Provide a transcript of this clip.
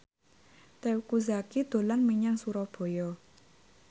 Teuku Zacky dolan menyang Surabaya